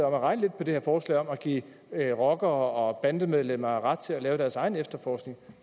om at regne lidt på det her forslag om at give rockere og bandemedlemmer ret til at lave deres egen efterforskning